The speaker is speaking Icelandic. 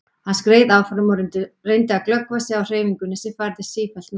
Hann skreið áfram og reyndi að glöggva sig á hreyfingunni sem færðist sífellt nær.